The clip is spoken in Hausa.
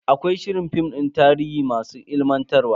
Akwai shirin film din tarihi masu ilimantarwa.